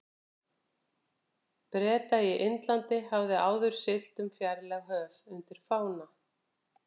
Breta í Indlandi, hafði áður siglt um fjarlæg höf undir fána